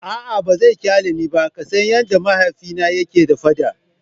A'a ba zai kyale ni ba, ka san yadda mahaifina yake da fada.